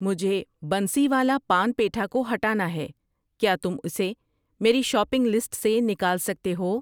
مجھے بنسی والا پان پیٹھا کو ہٹانا ہے، کیا تم اسے میری شاپنگ لسٹ سے نکال سکتے ہو؟